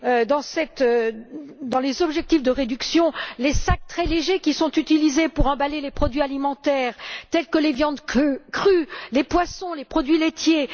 dans les objectifs de réduction, les sacs très légers qui sont utilisés pour emballer les produits alimentaires tels que les viandes crues, les poissons, les produits laitiers.